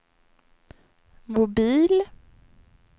mobil